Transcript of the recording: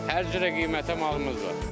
Hər cürə qiymətə malımız var.